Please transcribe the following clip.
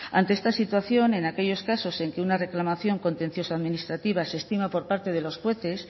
ante esta situación en aquellos casos en que una reclamación contencioso administrativa se estima por parte de los jueces